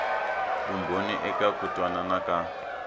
vumbhoni eka ku twanana ka